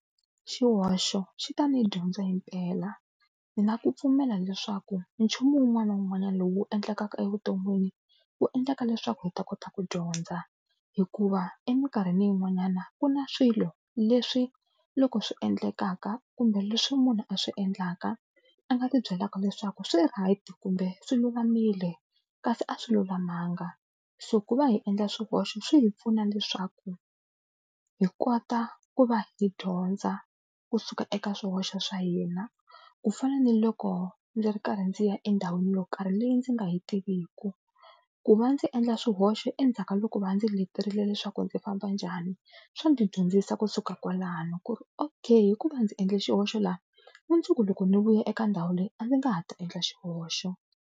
Xihoxo xi ta ni dyondza himpela ni na ku pfumela leswaku nchumu wun'wana na wun'wanyana lowu endlekaka evuton'wini wu endleka leswaku hi ta kota ku dyondza. Hikuva eminkarhini yin'wanyana ku na swilo leswi loko swi endlekaka kumbe leswi munhu a swi endlaka a nga ti byelaka leswaku swi right kumbe swilulamile kasi a swi lulamanga. So ku va hi endla swihoxo swi hi pfuna leswaku hi kota ku va hi dyondza kusuka eka swihoxo swa hina, ku fana ni loko ndzi ri karhi ndzi ya endhawini yo karhi leyi ndzi nga yi tiviki ku va ndzi endla swihoxo endzhaku ka loko va ndzi leterile leswaku ndzi famba njhani swa ndzi dyondzisa kusuka kwalano ku ri okay hikuva ndzi endle xihoxo laha mundzuku loko ndzi vuya eka ndhawu leyi a ndzi nga ha ta endla xihoxo.